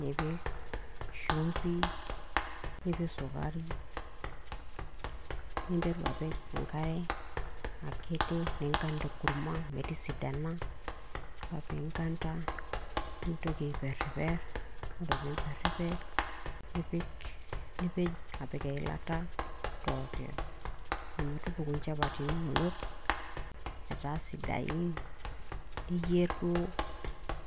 nipik shumbi, nipik sukari, ninteru apik enkare akiti ninganda enkurma metisidana, ore pinganda nintoki aiperiper, ore pimperiper nipej apik eileta torokiyo, ometupuku nchapatini inono eta sidain, niyier duo